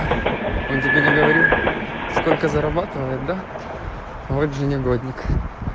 он тебе не говорил сколько зарабатывает да вот же негодник